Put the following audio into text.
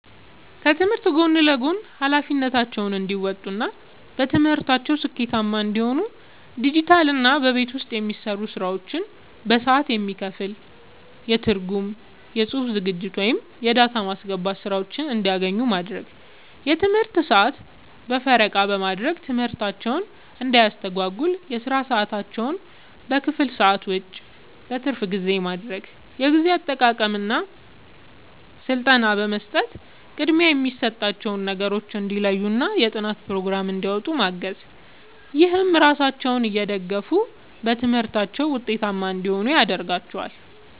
ከትምህርት ጎን ለጎን ኃላፊነታቸውን እንዲወጡ እና በትምህርታቸው ስኬታማ እንዲሆኑ ዲጂታልና በቤት ውስጥ የሚሰሩ ስራዎች በሰዓት የሚከፈል የትርጉም፣ የጽሑፍ ዝግጅት ወይም የዳታ ማስገባት ሥራዎችን እንዲያገኙ ማድረግ። የትምህርት ሰዓት በምረቃ በማድረግ ትምህርታቸውን እንዳያስተጓጉል የሥራ ሰዓታቸውን ከክፍል ሰዓት ውጭ (በትርፍ ጊዜ) ማድረግ። የጊዜ አጠቃቀም ሥልጠና በመስጠት ቅድሚያ የሚሰጣቸውን ነገሮች እንዲለዩና የጥናት ፕሮግራም እንዲያወጡ ማገዝ። ይህም ራሳቸውን እየደገፉ በትምህርታቸው ውጤታማ እንዲሆኑ ያደርጋቸዋል።